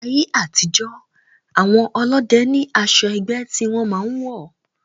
Ní ayé àtijó, àwọn ọlọ́dẹ ní asọ ẹgbẹ́ tí wọn máa ń wọ̀